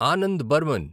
Anand Burman